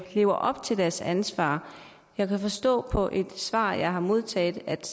lever op til deres ansvar jeg kan forstå på et svar jeg har modtaget